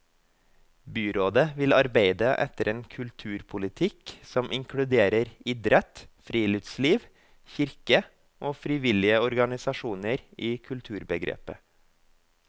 Byrådet vil arbeide etter en kulturpolitikk som inkluderer idrett, friluftsliv, kirke og frivillige organisasjoner i kulturbegrepet.